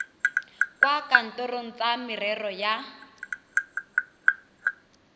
kwa kantorong tsa merero ya